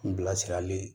N bilasirali ye